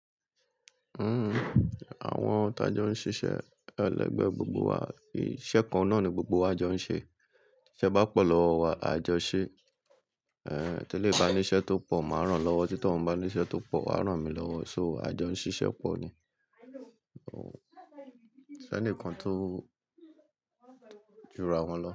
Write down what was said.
Hmm, àwọn tá jọ ń ṣiṣẹ́, ẹlẹgbẹ́ gbogbo wa, iṣẹ́ kan náà ni gbogbo wa jọ ń ṣe. Ṣé bá pọ̀ lọ wà, a jọ ṣé. Eh, tẹ́lẹ̀ bá ní iṣẹ́ tó pọ̀, mà rán lọ́wọ́, títí tọ bá ní iṣẹ́ tó pọ̀, à rán mi lọ́wọ́. So, a jọ ń ṣiṣẹ́ pọ̀ ni. Ko, ṣe nìkan tó jura wọn lọ.